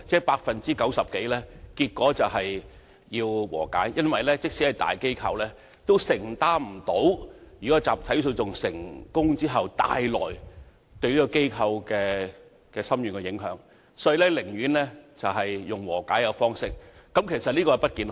百分之九十以上的個案達成和解，因為連大機構也無法承擔一旦集體訴訟成功對機構帶來的深遠影響，故寧願達成和解，但其實這並不健康。